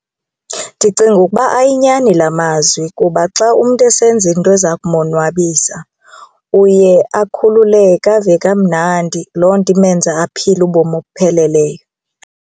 Ndicinga ukuba ayinyani la mazwi kuba xa umntu esenza into eza kumonwabisa uye akhululeke ave kamnandi loo nto imenza aphile ubomi obupheleleyo.